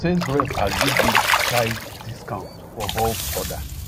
sales rep agree give five discount for bulk order